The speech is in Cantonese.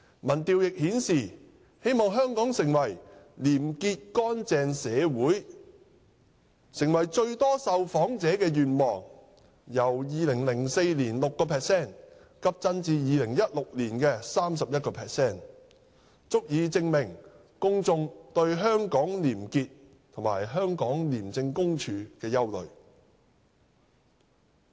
民調亦顯示，"希望香港成為廉潔乾淨社會"成為最多受訪者的願望，由2004年的 6% 急增至2016年的 31%， 足以證明公眾對香港廉潔及廉署的憂慮。